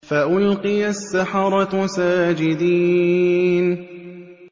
فَأُلْقِيَ السَّحَرَةُ سَاجِدِينَ